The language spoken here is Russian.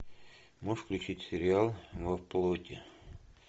можешь включить сериал во плоти